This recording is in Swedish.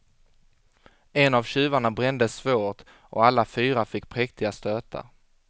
En av tjuvarna brändes svårt och alla fyra fick präktiga stötar.